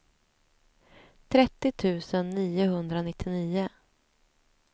trettio tusen niohundranittionio